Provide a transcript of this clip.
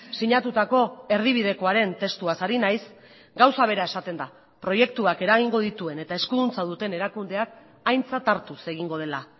sinatutako erdibidekoaren testuaz ari naiz gauza bera esaten da proiektuak eragingo dituen eta eskuduntza duten erakundeak aintzat hartuz egingo dela